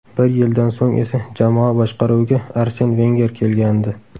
Bir yildan so‘ng esa jamoa boshqaruviga Arsen Venger kelgandi.